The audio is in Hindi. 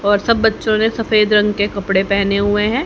और सब बच्चों ने सफेद रंग के कपड़े पहने हुए हैं।